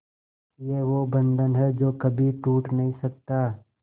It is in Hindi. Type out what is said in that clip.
ये वो बंधन है जो कभी टूट नही सकता